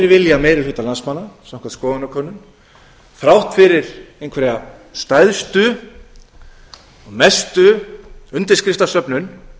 vilja meiri hluta landsmanna samkvæmt skoðanakönnun þrátt fyrir einhverja stærstu og mestu undirskriftasöfnun